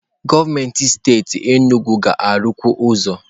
Gọọmenti steeti Enugwu ga-arụkwu ụzọ.